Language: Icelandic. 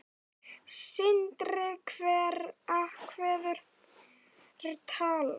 Sindri: Einhver ákveðin tala?